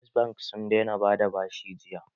First bank sun daina bada bashi jiya